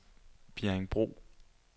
Bjerringbro